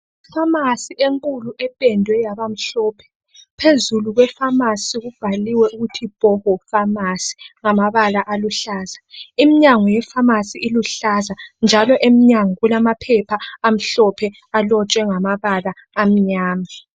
Ifamasi enkulu ependwe yaba mhlophe phezulu kwefamasi kubhaliwe ukuthi Hoho famasi ngamabala aluhlaza. Imnyango yefamasi iluhlaza njalo emnyango kulamaphepha amhlophe alotshwe ngamabala amnyama